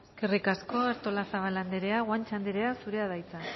eskerrik asko artolazabal andrea guanche andrea zurea da hitza